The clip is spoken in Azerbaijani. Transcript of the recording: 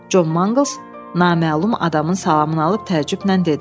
Con Manqls naməlum adamın salamını alıb təəccüblə dedi.